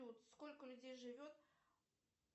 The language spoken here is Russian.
сколько людей живет